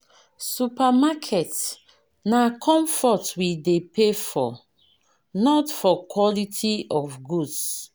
Supermarket na comfort we dey pay for not for quality of goods.